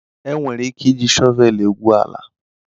Enwere ike iji shọvel egwu ala.